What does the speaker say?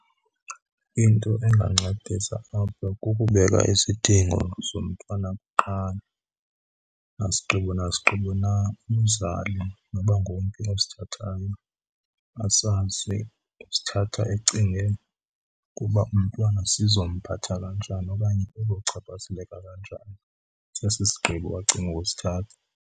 Into engandincedisa apha kukubeka izidingo zomntwana kuqala. Nasigqibo nasigqibo na umzali noba ngomphi osithathayo asazi usithatha ecinge ukuba umntwana sizomphatha kanjani okanye uzochaphazeleka kanjani sesi sigqibo acinge ukusithatha.